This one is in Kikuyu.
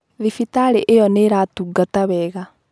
Thibitarĩ ĩyo nĩ iratungata wega.